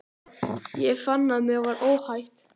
Ég fann að mér var óhætt.